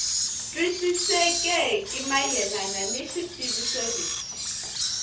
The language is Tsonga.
twisisekeki mayelana ni xitiviso lexi